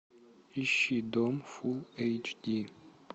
ищи дом фул эйч ди